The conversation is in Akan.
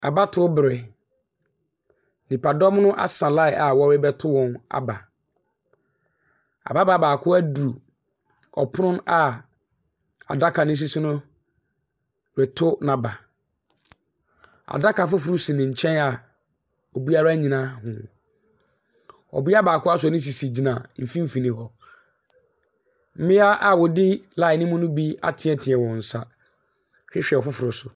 Abatoɔ berɛ, nnipadɔm asa line a wɔrebɛto wɔn aba. Ababaawa baako aduru ɔpon baako a adaka no si so no reto n'aba. Adaka foforɔ si ne nkyɛn a obiara nnyina ho. Ɔbea baako asɔ ne sisi gyina mfimfini hɔ. Mmea binom a wɔdi line no mu bi atene wɔn nsa rehwɛ afoforɔ so.